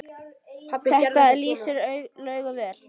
Þetta lýsir Laugu vel.